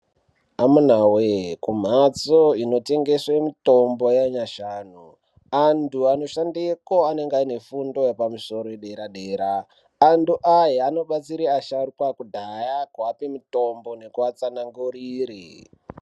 Amunawe kumbatso inotengese mitombo yanyashanu antu anoshandeko anenge aine fundo yepadera dera, antu aya anobatsira asharukwa ekudhaya kuape mitombo nekuatsanangurire.